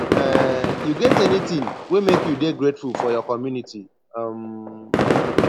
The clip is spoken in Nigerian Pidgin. um you get anything wey make you dey grateful for your community um